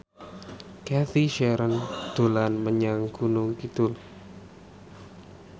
Cathy Sharon dolan menyang Gunung Kidul